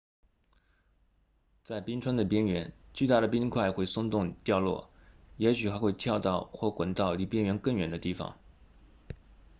在冰川的边缘巨大的冰块会松动掉落也许还会跳到或滚到离边缘更远的地方